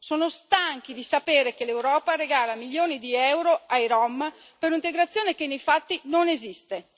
sono stanchi di sapere che l'Europa regala milioni di euro ai rom per un'integrazione che, nei fatti, non esiste.